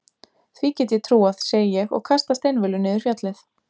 Því get ég trúað, segi ég og kasta steinvölu niður fjallið.